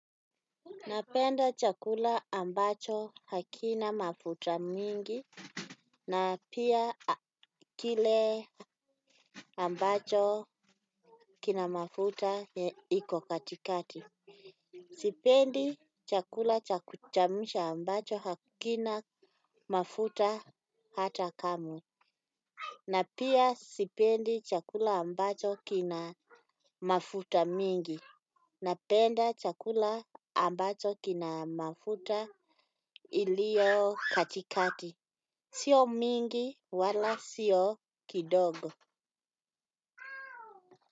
Napenda chakula ambacho hakina mafuta mingi, na pia kile ambacho kina mafuta iko katikati. Sipendi chakula cha kuchemsha ambacho hakina mafuta hata kamwe. Na pia sipendi chakula ambacho kina mafuta mingi. Napenda chakula ambacho kina mafuta iliyo katikati. Sio mingi wala sio kidogo.